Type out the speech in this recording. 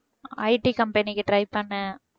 IT company க்கு try பண்ணேன்